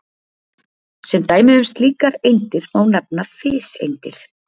Sem dæmi um slíkar eindir má nefna fiseindir.